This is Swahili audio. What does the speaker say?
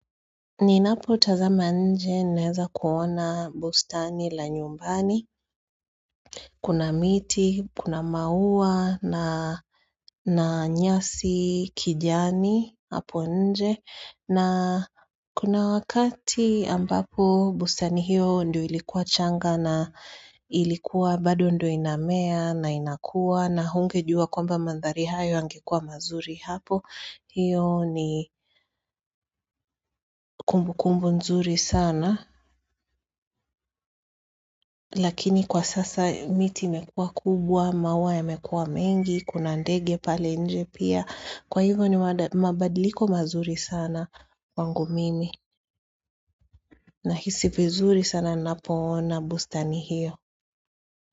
Ninapotazama nje ninaeza kuona bustani la nyumbani kuna miti, kuna maua na nyasi kijani hapo nje na kuna wakati ambapo bustani hiyo ndiyo ilikuwa changa ilikuwa bado ndo inamea na inakua na hungejua kwamba mandhari hayo yangekuwa mazuri hapo hiyo ni kumbukumbu nzuri sana. Lakini kwa sasa miti imekua kubwa, maua yamekua mengi, kuna ndege pale nje pia kwa hivyo ni mabadiliko mazuri sana kwangu mimi nahisi vizuri sana napoona bustani hiyo.